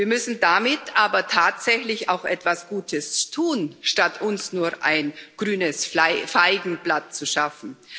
Wir müssen damit aber tatsächlich auch etwas Gutes tun, statt uns nur ein grünes Feigenblatt zu schaffen.